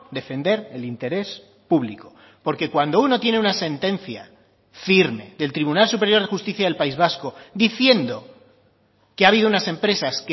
defender el interés público porque cuando uno tiene una sentencia firme del tribunal superior de justicia del país vasco diciendo que ha habido unas empresas